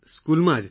સ્કૂલમાં જ